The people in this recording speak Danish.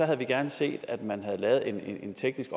havde vi gerne set at man havde lavet en teknisk